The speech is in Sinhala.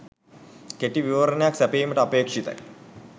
කෙටි විවරණයක් සැපයීමට අපේක්‍ෂිතයි.